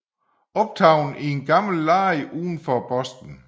Optaget i en gammel lade uden for Boston